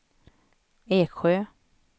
Eksjö